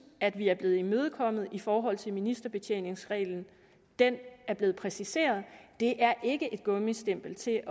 at vi er blevet imødekommet i forhold til ministerbetjeningsreglen den er blevet præciseret det er ikke et gummistempel til